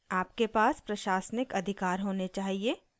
आपके पास प्रशासनिक administrative अधिकार होने चाहिए